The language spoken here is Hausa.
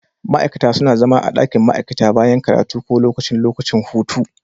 Ma'aikata suna zama a ɗakin ma'aikata bayan karatu ko lokacin lokacin hutu.